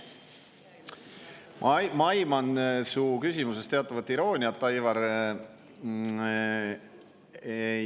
Ma aiman su küsimuses teatavat irooniat, Aivar.